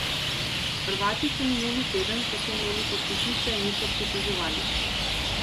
Hrvati se minuli teden, ko so imeli počitnice, niso pritoževali.